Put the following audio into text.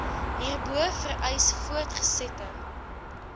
hierbo vereis voortgesette